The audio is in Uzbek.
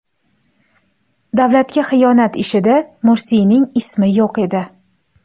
Davlatga xiyonat ishida Mursiyning ismi yo‘q edi.